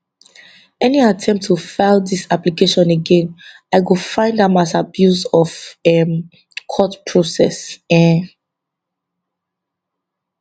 any attempt to file dis application again i go find am as abuse of um court process um